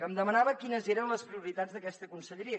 em demanava quines eren les prioritats d’aquesta conselleria